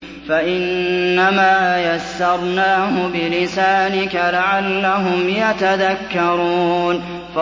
فَإِنَّمَا يَسَّرْنَاهُ بِلِسَانِكَ لَعَلَّهُمْ يَتَذَكَّرُونَ